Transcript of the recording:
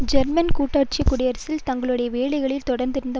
German கூட்டாட்சி குடியரசில் தங்களுடைய வேலைகளில் தொடர்ந்திருந்த